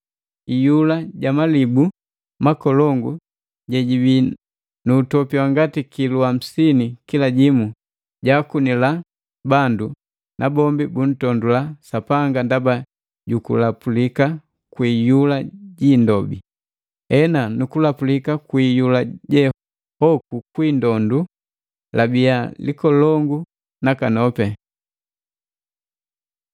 Iyula ja malibu makolongu jejibii nu utopi wa ngati kilu hamsini kila jimu, jaakunila bandu, nabombi buntondula Sapanga ndaba ju kulapulika kwi iyula ji indobi. Ena nu kulapulika kwi iyula je hoku kwi indobi labiya likolongu nakanopi.